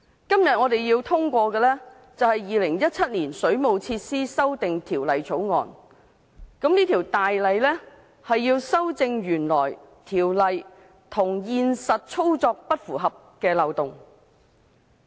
今天我們要通過的是《2017年水務設施條例草案》，該《條例草案》是要修正原來條例與現實操作不符合的漏洞。